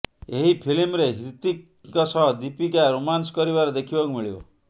ଏହି ଫିଲ୍ମରେ ହ୍ରୀତିକ୍ ଙ୍କ ସହ ଦୀପିକା ରୋମାନ୍ସ କରିବାର ଦେଖିବାକୁ ମିଳିବ